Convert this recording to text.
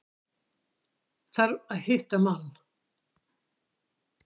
Þarf að hitta mann.